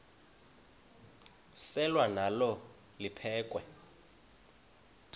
selwa nalo liphekhwe